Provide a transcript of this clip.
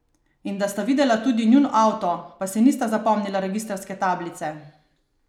In da sta videla tudi njun avto, pa si nista zapomnila registrske tablice?